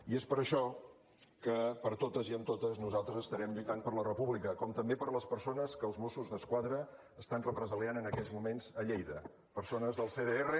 i és per això que per totes i amb totes nosaltres estarem lluitant per la república com també per les persones que els mossos d’esquadra estan represaliant en aquests moments a lleida persones del cdr